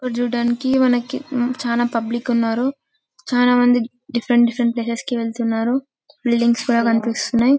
మనం చూడడానికి చానా పబ్లిక్ ఉన్నారు చానా మంది డిఫరెంట్ డిఫరెంట్ ప్లేసెస్ కి వెళ్తున్నారు బిల్డింగ్స్ కూడా కనిపిస్తున్నాయి --